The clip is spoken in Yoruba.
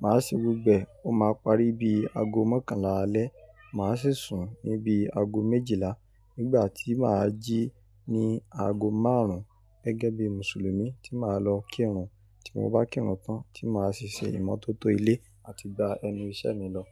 màá se gbogbo ẹ, ó máa parí bí i aago mọ́kànlá alẹ́, mà á sì sùn níbi aago méjìlá, nígbà tí mà á jí ní aago márùn ún gẹ́gẹ́ bí Mùsùlùmí tí mà á lọ kírun, tí mo bá kírun tán tí mà á sì ṣe ìmọ́tótó ilé àti gba ẹnu iṣẹ́ mi lọ.